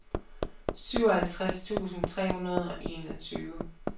syvoghalvtreds tusind tre hundrede og enogtyve